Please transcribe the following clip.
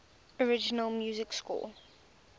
original music score